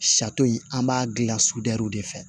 in an b'a gilan sudurɛriw de fɛ